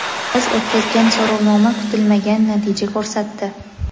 biz o‘tkazgan so‘rovnoma kutilmagan natija ko‘rsatdi.